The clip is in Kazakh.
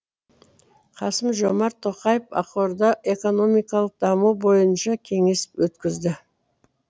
қасым жомарт тоқаев ақорда экономикалық даму бойынша кеңес өткізді